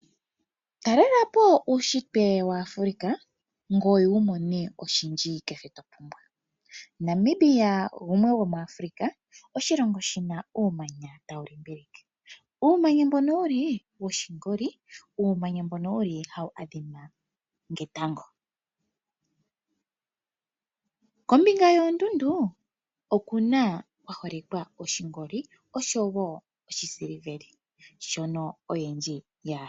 Talela po uushitwe waAfrika opo wi imonene oshindji kehe to apumbwa, Namibia shimwe sho muAfrika oshilongo shina uumanya taulimbilike, owafa oshingoli, woo otau adhima nge tango, moondundu omuna oshingoli no go polo.